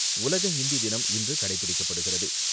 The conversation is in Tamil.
உலக ஹிந்தி தினம் இன்று கடைபிடிக்கப்படுகிறது.